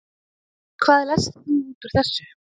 Hvað lest þú út úr þessu?